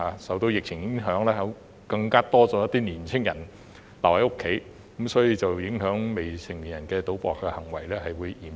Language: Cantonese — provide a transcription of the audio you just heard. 受到疫情影響，有更多年青人留在家中，致令未成年人賭博的行為更為嚴重。